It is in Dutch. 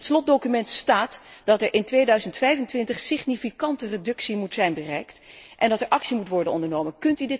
In het slotdocument staat dat er in 2025 een significante reductie moet zijn bereikt en dat er actie moet worden ondernomen.